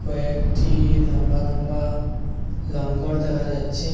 একটি লম্বা লম্বা লঙ্গর দেখা যাচ্ছে।